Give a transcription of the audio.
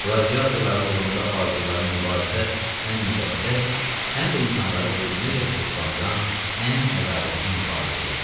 Qladiatorların uğrunda apardıqları mübarizə həm müqəddəs, həm də insanları bu günədək ruhlandıran ən ədalətli mübarizə idi.